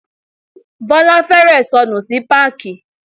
Bọ́lá fẹ́rẹ̀ẹ́ sọnù sí páàkì.